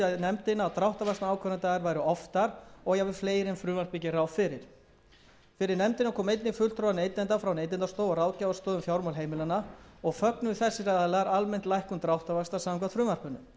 nefndina að dráttarvaxtaákvörðunardagar væru oftar og jafnvel fleiri en frumvarpið gerir ráð fyrir fyrir nefndina komu einnig fulltrúar neytenda frá neytendastofu og ráðgjafarstofu um fjármál heimilanna og fögnuðu þessir aðilar almennt lækkun dráttarvaxta samkvæmt frumvarpinu var því sjónarmiði hreyft að